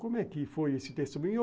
Como é que foi esse testemunho?